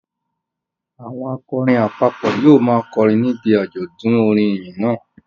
Àwọn akọrin àpapọ̀ yóò máa kọrin níbi àjọ̀dún orin ìyìn náà